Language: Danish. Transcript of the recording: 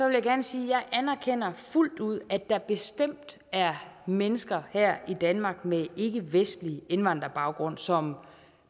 vil jeg gerne sige jeg anerkender fuldt ud at der bestemt er mennesker her i danmark med ikkevestlig indvandrerbaggrund som